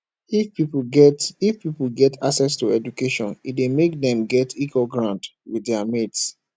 if pipo get if pipo get access to education e de make dem get equal ground with their mates